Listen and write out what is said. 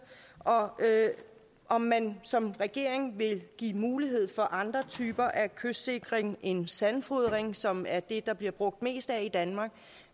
og om man som regering vil give mulighed for andre typer af kystsikring end sandfodring som er det der bliver brugt mest